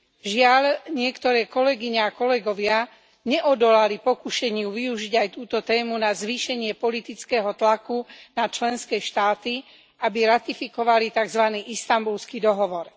Žiaľ, niektoré kolegyne a kolegovia neodolali pokušeniu využiť aj túto tému na zvýšenie politického tlaku na členské štáty, aby ratifikovali takzvaný Istanbulský dohovor.